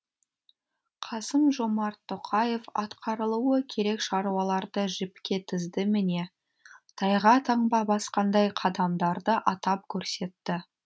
қасым жомарт тоқаев атқарылуы керек шаруаларды жіпке тізді міне тайға таңба басқандай қадамдарды атап көрсетті